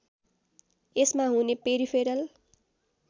यसमा हुने पेरिफेरल